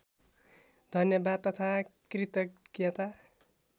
धन्यवाद तथा कृतज्ञता